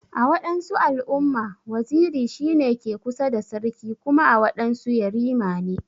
A wadansu al'umma, waziri shi ne ke kusa da sarki Kuma a wadansu yarima ne.